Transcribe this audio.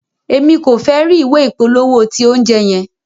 Emi ko fẹ ri ìwé ìpolówó ti oúnjẹ yẹn.